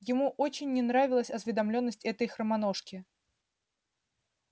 ему очень не нравилась осведомлённость этой хромоножки